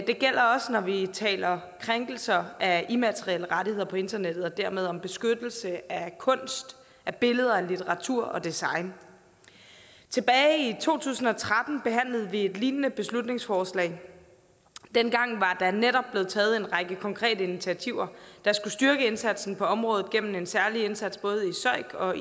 det gælder også når vi taler om krænkelser af immaterielle rettigheder på internettet og dermed om beskyttelse af kunst af billeder af litteratur og design tilbage i to tusind og tretten behandlede vi en lignende beslutningsforslag dengang var der netop blevet taget en række konkrete initiativer der skulle styrke indsatsen på området gennem en særlig indsats både i søik og